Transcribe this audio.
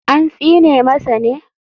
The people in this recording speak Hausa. An tsine masa ne?